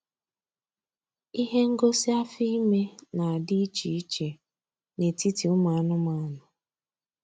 Ihe ngosi afọ ime na-adị iche iche n'etiti ụmụ anụmanụ